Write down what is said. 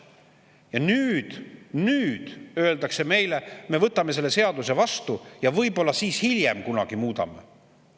Ja nüüd, nüüd öeldakse meile: "Me võtame selle seaduse vastu, võib-olla hiljem kunagi muudame seda.